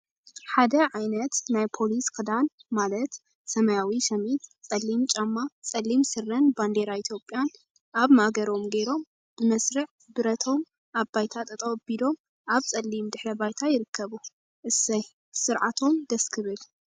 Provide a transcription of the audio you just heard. ሓደ ዓይነት ናይ ፖሊሰ ክዳን ማለት ሰማያዊ ሸሚዝ፣ ፀሊም ጫማ፣ ፀሊም ስረን ባንዴራ ኢትዮጵያን አብ ማእገሮም ገይሮም ብመስርዕ ብረቶም አብ ባይታ ጠጠው አቢሎም አብ ፀሊም ድሕረ ባይታ ይርከቡ፡፡ እሰይ ትስርዓቶም ደስ ክብል፡፡